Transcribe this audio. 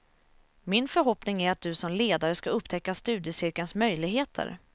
Min förhoppning är att du som ledare ska upptäcka studiecirkelns möjligheter.